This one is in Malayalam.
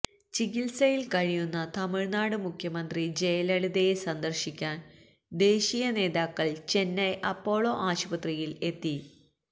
ചികിത്സയില് കഴിയുന്ന തമിഴ്നാട് മുഖ്യമന്ത്രി ജയലളിതയെ സന്ദര്ശിക്കാന് ദേശീയനേതാക്കള് ചെന്നൈ അപ്പോളോ ആശുപത്രിയില് എത്തി